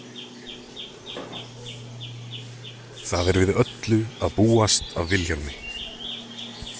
Það er við öllu að búast af Vilhjálmi.